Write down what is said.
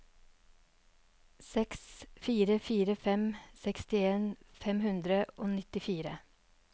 seks fire fire fem sekstien fem hundre og nittifire